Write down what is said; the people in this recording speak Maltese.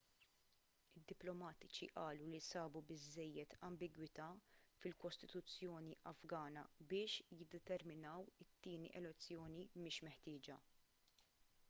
id-diplomatiċi qalu li sabu biżżejjed ambigwità fil-kostituzzjoni afgana biex jiddeterminaw it-tieni elezzjoni mhix meħtieġa